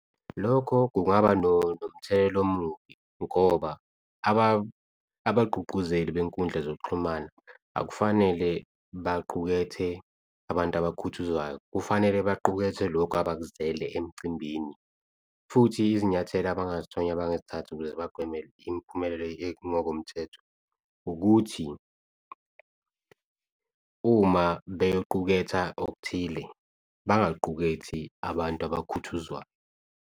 Lokho kungaba nomthelela omubi ngoba abagqugquzeli benkundla zokuxhumana akufanele baqukethe abantu abakhuthuzwayo. Kufanele baqukethe lokhu abakuzele emcimbini futhi izinyathelo abangazithonya, abangazithatha ukuze bagweme imiphumelelo ephuma kumthetho ukuthi, uma beyoquketha okuthile bangaqukethi abantu abakhuthazwayo.